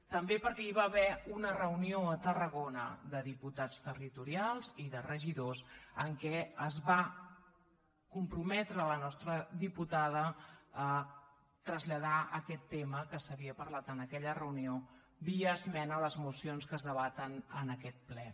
també perquè hi va haver una reunió a tarragona de diputats territorials i de regidors en què es va comprometre la nostra diputada a traslladar aquest tema que s’havia parlat en aquella reunió via esmena a les mocions que es debaten en aquest ple